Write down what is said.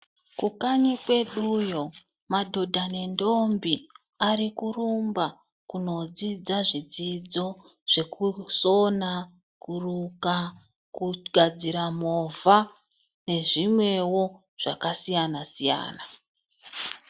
Kukanyi kweduyo madhodha nendombi ari kurumba kunodzidza zvidzidzo zvekusona, kuruka, kugadzira movha nezvimwewo zvakasiyana siyana.